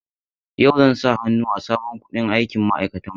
Yau zan sa hannu a sabon kundin aikin ma'aikatanmu.